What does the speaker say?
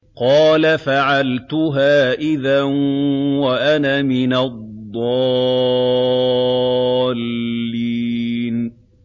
قَالَ فَعَلْتُهَا إِذًا وَأَنَا مِنَ الضَّالِّينَ